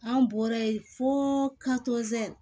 An bɔra yen fo